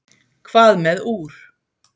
hvað með úr